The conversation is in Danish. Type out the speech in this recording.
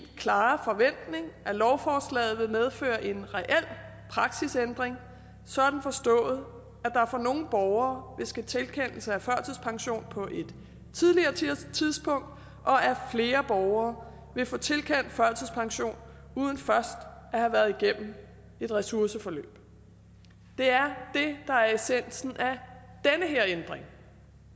klare forventning at lovforslaget vil medføre en reel praksisændring sådan forstået at der for nogle borgere vil ske tilkendelse af førtidspension på et tidligere tidspunkt og at flere borgere vil få tilkendt førtidspension uden først at have været igennem et ressourceforløb det er det der er essensen af den her ændring